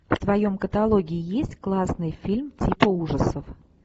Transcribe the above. в твоем каталоге есть классный фильм типа ужасов